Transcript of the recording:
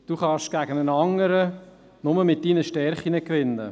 Du kannst gegen einen Mitbewerber nur mit deinen Stärken gewinnen;